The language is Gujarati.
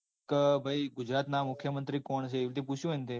હા ભાઈ ગુજરાત ના મુખ્યમન્ત્રી કોણ છે. એવી રીતે પૂછ્યું હોયન તે